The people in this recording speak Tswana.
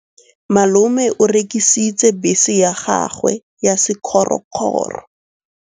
Malome o rekisitse bese ya gagwe ya sekgorokgoro.